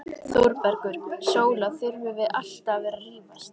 ÞÓRBERGUR: Sóla, þurfum við alltaf að vera að rífast?